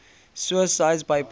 suicides by poison